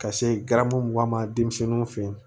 Ka se garamu denmisɛnninw fe yen